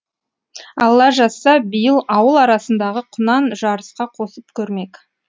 алла жазса биыл ауыл арасындағы құнан жарысқа қосып көрмек